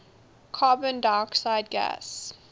carbon dioxide gas